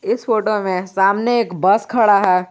इस फोटो में सामने एक बस खड़ा है।